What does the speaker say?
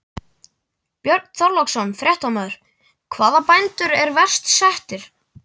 Björn Þorláksson, fréttamaður: Hvaða bændur eru verst settir?